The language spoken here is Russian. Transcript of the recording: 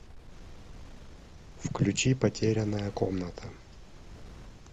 включи потерянная комната